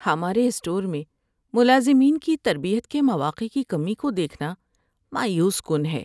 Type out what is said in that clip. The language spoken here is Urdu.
ہمارے اسٹور میں ملازمین کی تربیت کے مواقع کی کمی کو دیکھنا مایوس کن ہے۔